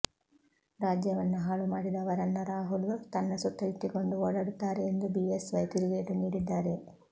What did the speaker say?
ರಾಜ್ಯವನ್ನ ಹಾಳು ಮಾಡಿದವರನ್ನ ರಾಹುಲ್ ತನ್ನ ಸುತ್ತ ಇಟ್ಟಿಕೊಂಡು ಓಡಾಡುತ್ತಾರೆ ಎಂದು ಬಿಎಸ್ ವೈ ತಿರುಗೇಟು ನೀಡಿದ್ದಾರೆ